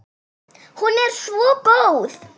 Hún er svo góð.